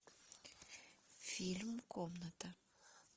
фильм комната